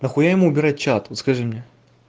нахуя ему убирать чат вот скажи мне